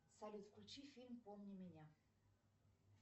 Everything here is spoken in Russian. салют включи фильм помни меня